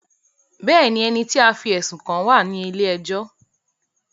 Bẹ́ẹ̀ni, ẹni tí a fí ẹ̀sùn kàn wá à ní ilé ẹjọ́